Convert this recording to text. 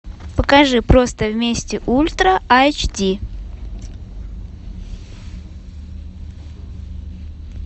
покажи просто вместе ультра айч ди